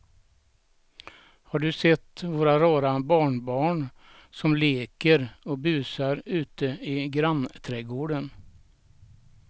Har du sett våra rara barnbarn som leker och busar ute i grannträdgården!